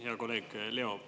Hea kolleeg Leo!